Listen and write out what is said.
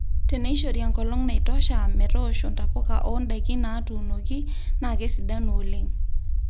teneishori enkolong naitosha metoosho ntapuka oo ndaiki natuunoki na kesidanu oleng